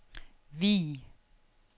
Vig